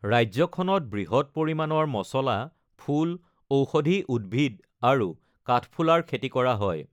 ৰাজ্যখনত বৃহৎ পৰিমাণৰ মচলা, ফুল, ঔষধি উদ্ভিদ আৰু কাঠফুলাৰ খেতি কৰা হয়।